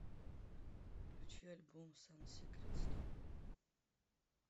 включи альбом сан сикрет стоп